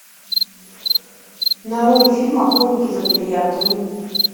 нарой фильм охотники за бриллиантами